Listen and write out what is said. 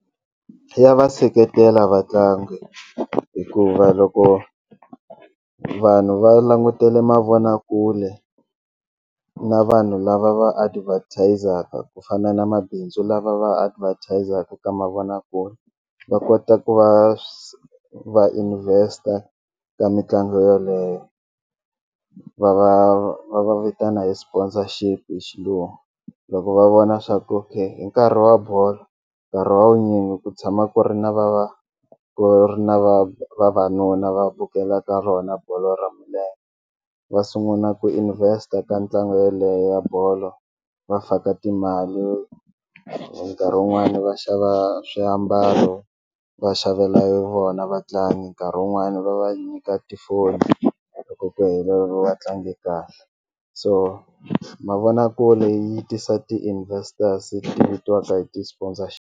Ya va seketela vatlangi hikuva loko vanhu va langutele mavonakule na vanhu lava va advertise-aka ku fana na mabindzu lava va advertise-aka ka mavonakule va kota ku va va invest-a ka mitlangu yeleyo va va va va vitana hi sponsorship hi xilungu loko va vona swa ku okay hi nkarhi wa bolo nkarhi wa vunyingi ku tshama ku ri na va va ku ri na vavanuna va vukelaka rona bolo ra milenge va sunguna ku invest-a ka ntlangu yeleyo ya bolo va faka timali nkarhi wun'wani va xava swiambalo va xavela vona vatlangi nkarhi wun'wani va va nyika tifoni loko ku heleriwa va tlange kahle so mavonakule yi tisa ti-investors ti vitiwaka hi ti .